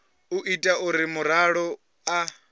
u ita uri muraḓo a